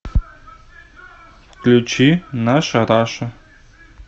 включи наша раша